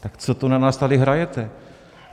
Tak co to na nás tady hrajete?